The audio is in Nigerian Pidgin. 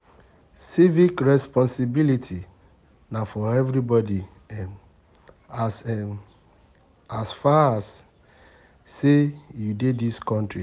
Civic responsibility na for everybodi um as um as far as sey you dey dis country.